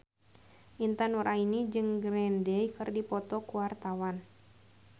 Intan Nuraini jeung Green Day keur dipoto ku wartawan